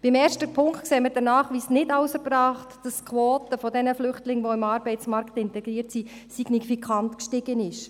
Beim ersten Punkt sehen wir den Nachweis nicht als erbracht, dass die Quote der Flüchtlinge, die im Arbeitsmarkt integriert sind, signifikant gestiegen ist.